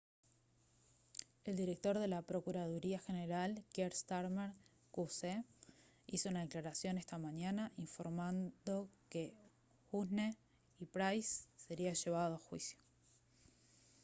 el director de la procuraduría general kier starmer qc hizo una declaración esta mañana informando que huhne y pryce sería llevado a juicio